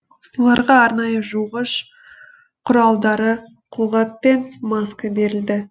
оларға арнайы жуғыш құралдары қолғап пен маска берілді